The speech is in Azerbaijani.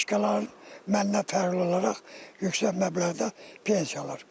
Başqalarından məndən fərqli olaraq yüksək məbləğdə pensiya alır.